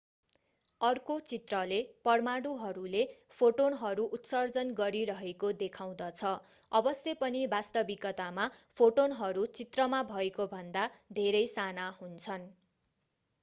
अर्को चित्रले परमाणुहरूले फोटोनहरू उत्सर्जन गरिरहेको देखाउँदछ अवश्य पनि वास्तविकतामा फोटोनहरू चित्रमा भएकोभन्दा धेरै साना हुन्छन्